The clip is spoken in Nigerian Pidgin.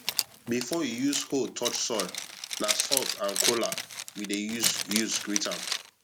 before you use hoe touch soil na salt and kola we dey use use greet am